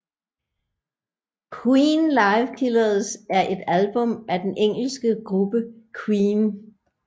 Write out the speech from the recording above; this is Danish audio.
Queen Live Killers er et album af den engelske gruppe Queen